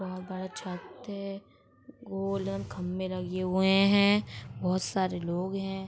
बहुत बड़ा छत है खभे लगे हुए हैं बहुत सारे लोग हैं|